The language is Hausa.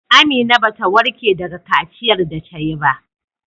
Amina bata warke daga kaciyar da tayi ba.